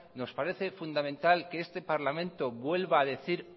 nos parece fundamental que este parlamento vuelva a decir